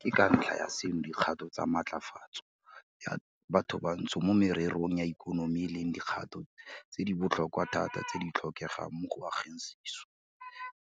Ke ka ntlha ya seno dikgato tsa matlafatso ya bathobantsho mo mererong ya ikonomi e leng dikgato tse di botlhokwa thata tse di tlhokegang mo go ageng sešwa